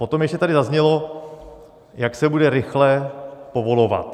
Potom ještě tady zaznělo, jak se bude rychle povolovat.